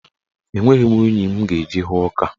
Enweghị m unyi m ga-eji hụọ ọka.